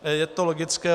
Je to logické.